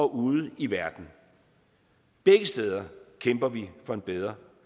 ude i verden begge steder kæmper vi for en bedre